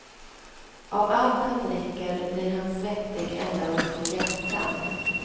Av allt han dricker blir han svettig ända upp på hjässan.